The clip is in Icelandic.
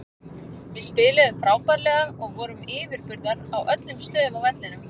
Við spiluðum frábærlega og vorum yfirburðar á öllum stöðum á vellinum.